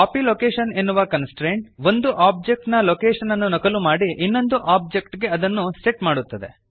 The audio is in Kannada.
ಕಾಪಿ ಲೊಕೇಷನ್ ಎನ್ನುವ ಕನ್ಸ್ಟ್ರೇಂಟ್ ಒಂದು ಒಬ್ಜೆಕ್ಟ್ ನ ಲೊಕೇಶನ್ ಅನ್ನು ನಕಲು ಮಾಡಿ ಇನ್ನೊಂದು ಒಬ್ಜೆಕ್ಟ್ ಗೆ ಅದನ್ನು ಸೆಟ್ ಮಾಡುತ್ತದೆ